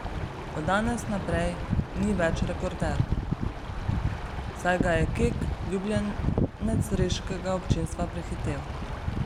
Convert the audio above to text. Od danes naprej ni več rekorder, saj ga je Kek, ljubljenec reškega občinstva, prehitel.